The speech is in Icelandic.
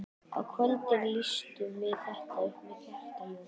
Á kvöldin lýstum við þetta upp með kertaljósum.